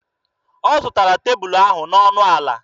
Ọ zụtara tebulu ahụ n'ọnụ ala.